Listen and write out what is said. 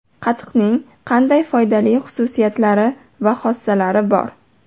Qatiqning qanday foydali xususiyatlari va xossalari bor?